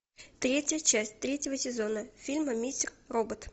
третья часть третьего сезона фильма мистер робот